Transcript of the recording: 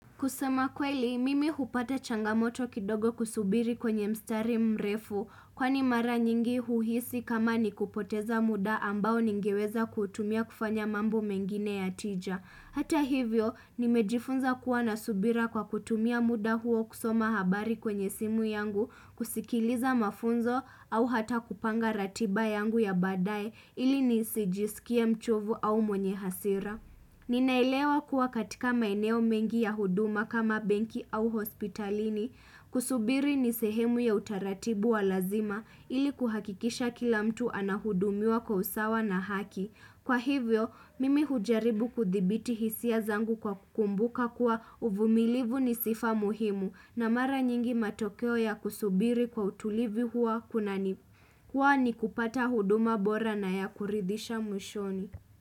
Kusema kweli, mimi hupata changamoto kidogo kusubiri kwenye mstari mrefu kwani mara nyingi huhisi kama ni kupoteza muda ambao ningeweza kutumia kufanya mambo mengine ya tija. Hata hivyo, nimejifunza kuwa na subira kwa kutumia muda huo kusoma habari kwenye simu yangu, kusikiliza mafunzo au hata kupanga ratiba yangu ya baadaye ili nisi jisikie mchovu au mwenye hasira. Ninaelewa kuwa katika maeneo mengi ya huduma kama benki au hospitalini kusubiri ni sehemu ya utaratibu wa lazima ili kuhakikisha kila mtu anahudumuiwa kwa usawa na haki Kwa hivyo, mimi hujaribu kuthibiti hisia zangu kwa kukumbuka kuwa uvumilivu ni sifa muhimu. Na mara nyingi matokeo ya kusubiri kwa utulivi huwa kunani huwa ni kupata huduma bora na ya kuridisha mwishoni.